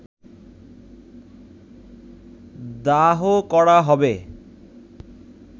দাহ করা হবে